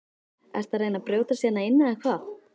Ertu að reyna að brjótast hérna inn eða hvað!